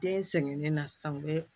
Den sɛgɛnnen na san bɛ